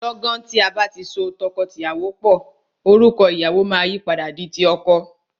Lọ́gan tí a bá ti so tọkọtìyàwó pò, orúkọ ìyàwọ máa yìí padà di ti ọkọ.